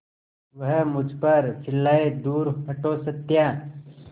वह मुझ पर चिल्लाए दूर हटो सत्या